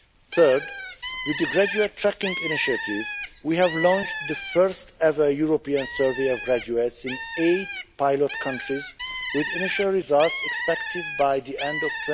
Third, with the graduate tracking initiative, we have launched the first ever European survey of graduates in eight pilot countries, with initial results expected by the end